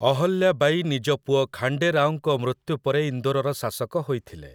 ଅହଲ୍ୟା ବାଈ ନିଜ ପୁଅ ଖାଣ୍ଡେ ରାଓଙ୍କ ମୃତ୍ୟୁ ପରେ ଇନ୍ଦୋରର ଶାସକ ହୋଇଥିଲେ ।